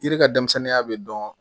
Yiri ka denmisɛnninya bɛ dɔn